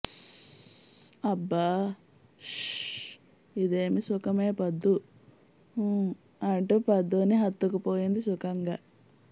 స్స్స్స్స్స్స్స్ హబ్బాహ్హ్హ్హ్హ్హ్హ్హ్హ్హ్హ్ ఇదేమి సుఖమే పద్దూ హుమ్మ్మ్మ్మ్మ్ అంటూ పద్దూ ని హత్తుకుపోయింది సుఖంగా